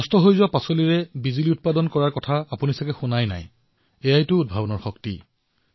নষ্ট হোৱা শাকপাচলিৰ পৰা বিদ্যুৎ উৎপাদন কৰাৰ কথা বোধহয় আপোনালোকে শুনা নাছিল এয়াই উদ্ভাৱনৰ শক্তি